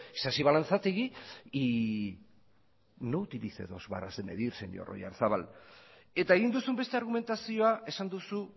isasi balanzategi y no utilice dos varas de medir señor oyarzabal eta egin duzun beste argumentazioa esan duzu